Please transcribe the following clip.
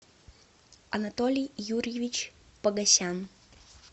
анатолий юрьевич погосян